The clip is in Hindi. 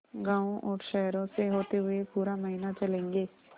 गाँवों और शहरों से होते हुए पूरा महीना चलेंगे